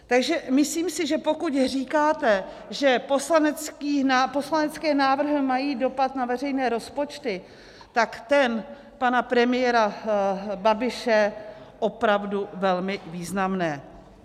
Takže myslím si, že pokud říkáte, že poslanecké návrhy mají dopad na veřejné rozpočty, tak ten pana premiéra Babiše opravdu velmi významný.